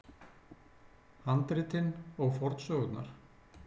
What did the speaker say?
Handritin og fornsögurnar.